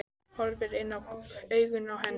Horfir inn í augun á henni.